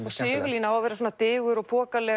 og Sigurlína á að vera svona digur og